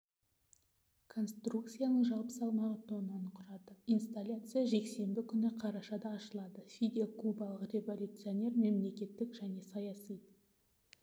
конструкцияның жалпы салмағы тоннаны құрады инсталляция жексенбі күні қарашада ашылады фидель кубалық революционер мемлекеттік және саяси